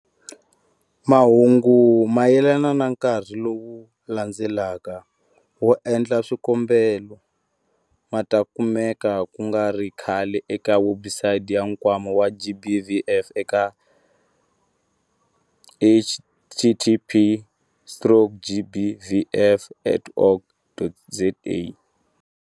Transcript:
Mahungu mayelana na nkarhi lowu landzelaka wo endla swikombelo ma ta kumeka ku nga ri khale eka webusayiti ya Nkwama wa GBVF eka- https stroke gbvf.org.za.